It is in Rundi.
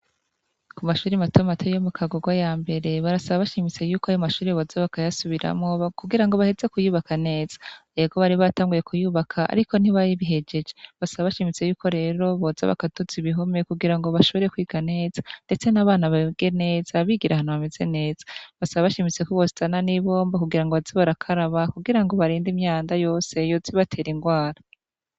Ku mashure matomato yo mu Kagogo yambere barasaba bashimitse ko ayo mashure boza bakayasubiramwo kugira bareke bayubake nez ego bari batanguye kuyubaka ariko ntibabihejeje basaba bashimitse rero boza bakaduza ibihome ngo bashobore kwiga neza ndetse nabana bige neza bigira ahantu hamezs neza basaba bashimitse ko bozana ni bombo kugira baze barakaraba